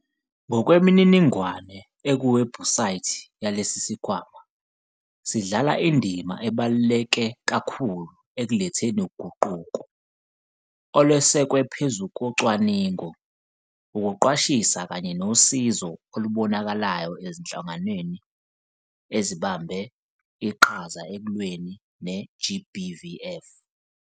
Ngokwemininingwane ekuwebhusayithi yalesi sikhwama, sidlala indima ebaluleke kakhulu ekuletheni uguquko, olwesekwe phezu kocwaningo, ukuqwashisa kanye nosizo olubonakalayo ezinhlanganweni ezibambe iqhaza ekulweni ne-GBVF.